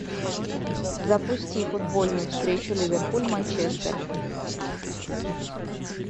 запусти футбольную встречу ливерпуль манчестер